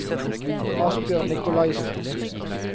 Asbjørn Nicolaysen